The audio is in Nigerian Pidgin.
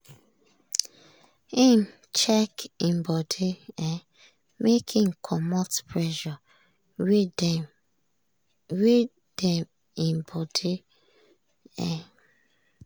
im check im body um make im comot pressure wey dem im body. um